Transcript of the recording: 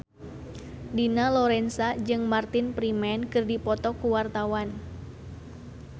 Dina Lorenza jeung Martin Freeman keur dipoto ku wartawan